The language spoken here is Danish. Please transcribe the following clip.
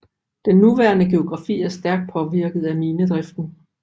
Den nuværende geografi er stærkt påvirket af minedriften